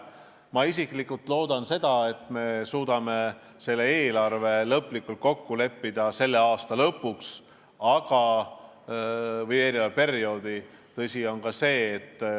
Ma isiklikult loodan, et me suudame selle eelarve lõplikult kokku leppida eelmise perioodi lõpuks.